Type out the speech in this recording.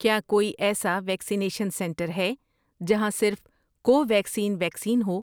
کیا کوئی ایسا ویکسینیشن سنٹر ہے جہاں صرف کوویکسین ویکسین ہو؟